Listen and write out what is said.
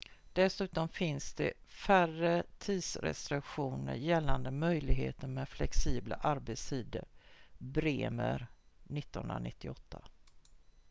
dessutom finns det färre tidsrestriktioner gällande möjligheten med flexibla arbetstider. bremer 1998